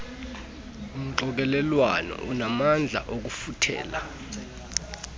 mxokelelwano unamandla okufuthela